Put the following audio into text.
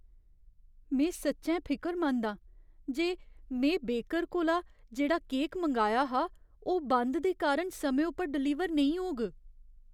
में सच्चैं फिकरमंद हा जे में बेकर कोला जेह्ड़ा केक मंगाया हा, ओह् बंद दे कारण समें उप्पर डलीवर नेईं होग।